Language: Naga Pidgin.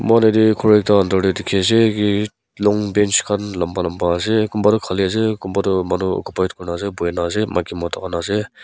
moi khan ete ghor ekta under te dikhi ase ki long bench khan lamba lamba ase kumba toh khali ase kumba toh manu occupied kuri ne ase buhi ne ase maiki mota khan ase.